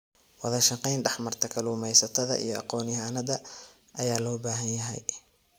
Wadashaqeyn dhexmarta kalluumeysatada iyo aqoonyahannada ayaa loo baahan yahay.